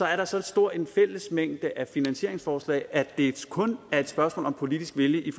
er så stor en fællesmængde af finansieringsforslag at det kun er et spørgsmål om politisk vilje